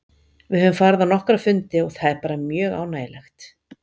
Við höfum farið á nokkra fundi og það er bara mjög ánægjulegt.